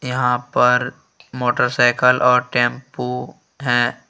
यहां पर मोटरसाइकल और टेंपो हैं।